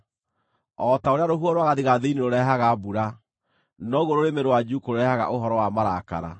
O ta ũrĩa rũhuho rwa gathigathini rũrehaga mbura, noguo rũrĩmĩ rwa njuukũ rũrehaga ũhoro wa marakara.